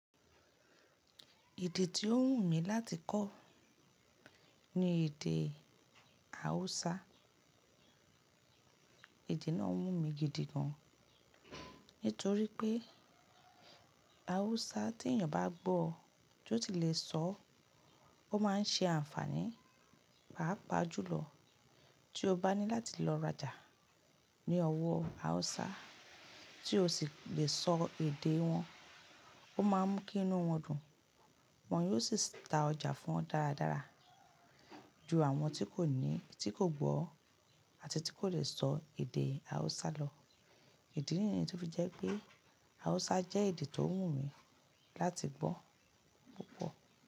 Èdè tí ó wù mí láti kọ́ ni èdè Hausa. Èdè náà wù mí gidi gan, nítorí pé Hausa tí èyàn bá gbọ́, tí ó sì le sọ, ó máa ń ṣe àǹfààní, pàápàá jùlọ tí o bá ní láti lọ raja ní ówọ́ Hausa tí ó sì le sọ èdè wọn, ó má ń mú kí inú wọn dùn, wọ́n yóò sì ta ọjà fún ọ dáradára ju àwọn tí kò ní, tí kò gbọ́ àti tí kò le sọ èdè Hausa lọ. Ìdí nìyẹn tó fi jẹ́ pé Hausa jẹ́ èdè tó wù mí láti gbọ́ púpọ̀.